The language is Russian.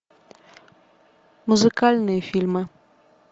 музыкальные фильмы